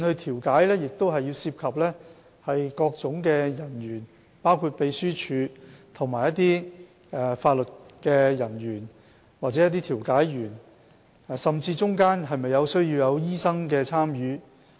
調解會涉及各種人員，包括秘書處人員、法律人員及調解員，甚至是否需要醫生參與。